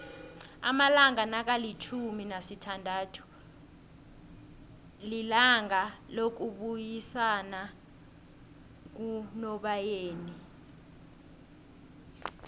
amalanga nakalifjhumi nasithandathu lilanga lokubuyisanakunobayeni